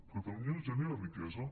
catalunya genera riquesa